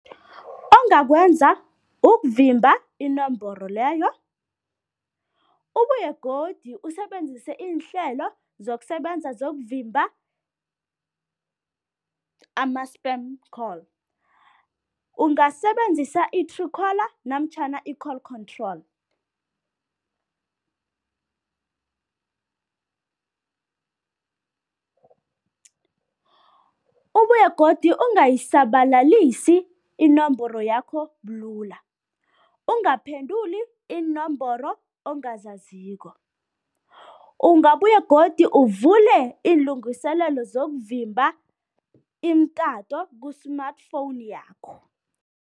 Ongakwenza ukuvimba inomboro leyo, ubuye godu usebenzise iinhlelo zokusebenza zokuvimba ama-spam call. Ungasebenzisa i-true caller namtjhana i-call control. Ubuye godu ungayisabalalisi inomboro yakho bulula, ungaphenduli iinomboro ongazaziko. Ungabuye godu uvule iinlungiselelo zokuvimba imitato ku-smartphone yakho.